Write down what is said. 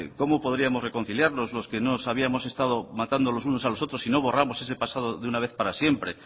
cómo podíamos reconciliarnos los que nos habíamos estado matando los unos a los otros sino borramos ese pasado de una vez para siempre